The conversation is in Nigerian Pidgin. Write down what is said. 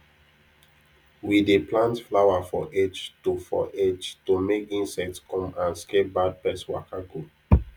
we dey plant flower for edge to for edge to make insect come and scare bad pest waka go